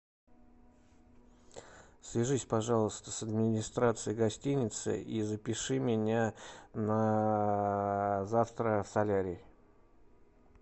свяжись пожалуйста с администрацией гостиницы и запиши меня на завтра в солярий